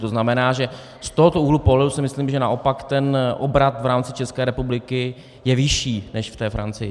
To znamená, že z tohoto úhlu pohledu si myslím, že naopak ten obrat v rámci České republiky je vyšší než v té Francii.